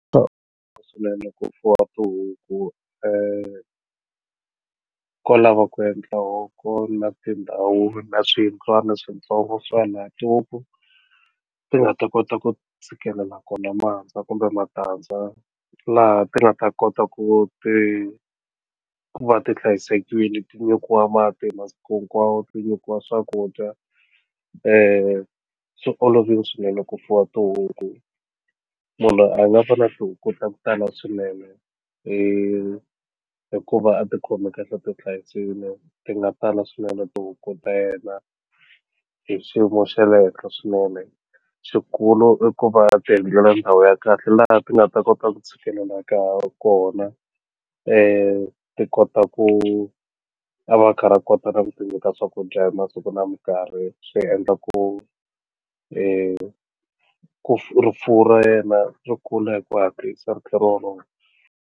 Swinene ku fuwa tihuku ko lava ku endla loko na tindhawu na swiyindlwana switsongo swa na tihuku ti nga ta kota ku tshikela kona mahandza kumbe matandza laha ti nga ta kota ku ti ku va ti hlayisekini ti nyikiwa mati masiku hinkwawo ti nyikiwa swakudya swi olovile swinene ku fuwa tihuku munhu loyi a nga fanela ku kota kutani swinenehi hikuva a ti khomi kahle ti hlayisile ti nga tala swinene tihuku ta yena hi xiyimo xa le henhla swinene xikulu i ku va ti endlela ndhawu ya kahle laha ti nga ta kota ku tshikelela ka kona ti kota ku a va a kha a kota na ku cinca ka swakudya hi masiku na mikarhi swi endla ku ku rifuwo ra yena ri kula hi ku hatlisa ri kha ri wolowo.